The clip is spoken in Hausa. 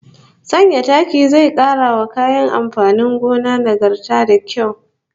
Sanya taki zai kara wa kayan amfanin gona nagarta da kyau